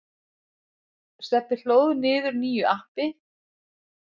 Stebbi hlóð niður nýju appi.